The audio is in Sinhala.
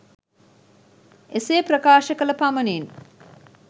එසේ ප්‍රකාශ කළ පමණින්